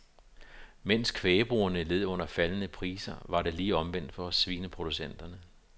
Mens kvægbrugerne led under faldende priser var det lige omvendt for svineproducenterne.